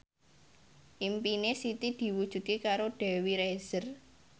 impine Siti diwujudke karo Dewi Rezer